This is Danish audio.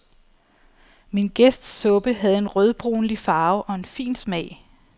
Min gæsts suppe havde en rødbrunlig farve og en fin smag.